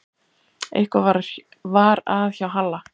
Eitthvað var að hjá Halla.